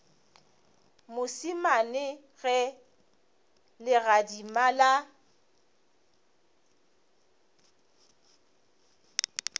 mošemane a ge legadima la